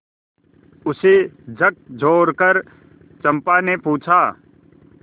उसे झकझोरकर चंपा ने पूछा